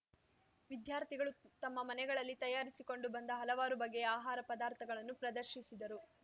ವಿದ್ಯಾರ್ಥಿಗಳು ತಮ್ಮ ಮನೆಗಳಲ್ಲಿ ತಯಾರಿಸಿಕೊಂಡು ಬಂದ ಹಲವಾರು ಬಗೆಯ ಆಹಾರ ಪದಾರ್ಥಗಳನ್ನು ಪ್ರದರ್ಶಿಸಿದರು